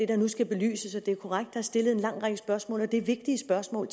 der nu skal belyses det er korrekt er stillet en lang række spørgsmål og det er vigtige spørgsmål